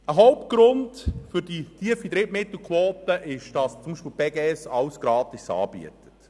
Ein Hauptgrund für die tiefe Drittmittelquote besteht darin, dass die Beges alle ihre Leistungen gratis anbietet.